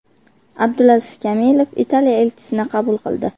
Abdulaziz Kamilov Italiya elchisini qabul qildi.